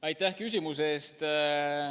Aitäh küsimuse eest!